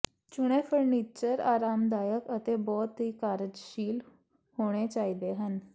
ਚੁਣੇ ਫ਼ਰਨੀਚਰ ਆਰਾਮਦਾਇਕ ਅਤੇ ਬਹੁਤ ਹੀ ਕਾਰਜਸ਼ੀਲ ਹੋਣੇ ਚਾਹੀਦੇ ਹਨ